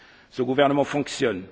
Ce gouvernement fonctionne.